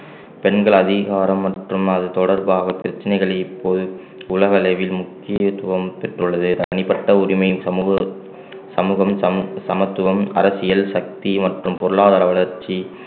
பெண்கள் அதிகாரம் மற்றும் அது தொடர்பாக பிரச்சனைகளை இப்போது உலகளவில் முக்கியத்துவம் பெற்றுள்ளது தனிப்பட்ட உரிமையும் சமூக சமூகம் சம~ சமத்துவம் அரசியல் சக்தி மற்றும் பொருளாதார வளர்ச்சி